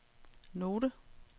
note